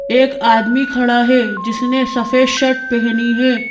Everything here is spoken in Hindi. एक आदमी खड़ा है जिसने सफेद शर्ट पहनी है।